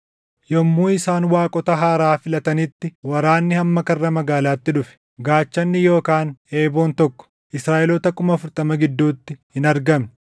Yommuu isaan waaqota haaraa filatanitti, waraanni hamma karra magaalaatti dhufe; gaachanni yookaan eeboon tokko, Israaʼeloota kuma afurtama gidduutti hin argamne.